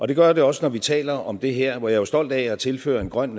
det gør det også når vi taler om det her hvor jeg jo er stolt af at tilhøre en grøn